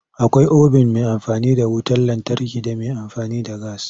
Akwai obin mai amfani da wutar lantarki da mai amfani da gas.